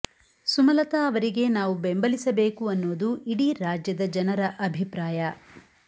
ಸುಮಲತಾ ಅವರಿಗೆ ನಾವು ಬೆಂಬಲಿಸಬೇಕು ಅನ್ನೋದು ಇಡೀ ರಾಜ್ಯದ ಜನರ ಅಭಿಪ್ರಾಯ